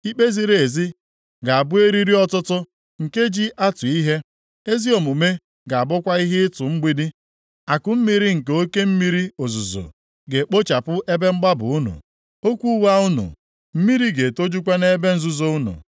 Ikpe ziri ezi ga-abụ eriri ọtụtụ nke ji atụ ihe, ezi omume ga-abụkwa ihe ịtụ mgbidi; akụmmiri nke oke mmiri ozuzo, ga-ekpochapụ ebe mgbaba unu, okwu ụgha unu, mmiri ga-etojukwa nʼebe nzuzo unu.